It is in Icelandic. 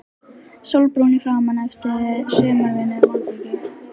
Sólbrúnn í framan eftir sumarvinnu í malbiki.